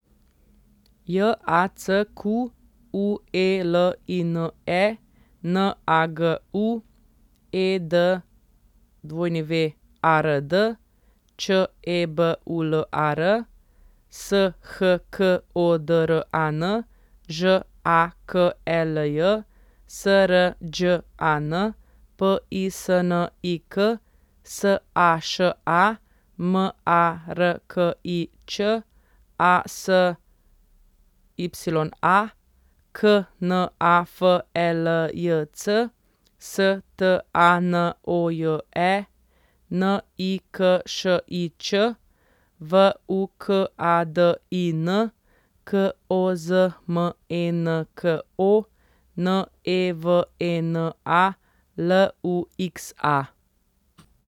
J A C Q U E L I N E, N A G U; E D W A R D, Č E B U L A R; S H K O D R A N, Ž A K E L J; S R Đ A N, P I S N I K; S A Š A, M A R K I Ć; A S Y A, K N A F E L J C; S T A N O J E, N I K Š I Č; V U K A D I N, K O Z M E N K O; N E V E N A, L U X A.